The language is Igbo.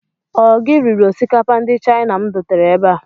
Ọ gị riri osikapa ndị China m dotere ebe a?